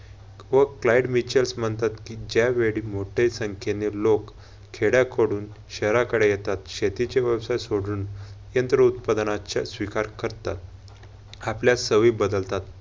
व फ्लाइट मिचर्स म्हणतात कि ज्यावेळी मोठे संख्येने लोक खेड्याकडून शहराकडे येतात. शेतीचे व्यवसाय सोडून यंत्र उत्पादनाच्या स्वीकार करतात, आपल्या सवयी बदलतात.